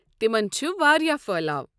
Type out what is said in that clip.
تمن چھِ وارِیاہ پھٔہلاو۔